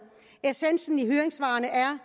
essensen i høringssvarene er